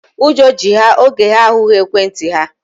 Ụjọ ji ha oge ha ahụghị ekwentị ha.